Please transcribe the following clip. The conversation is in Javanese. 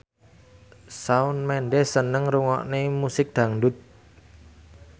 Shawn Mendes seneng ngrungokne musik dangdut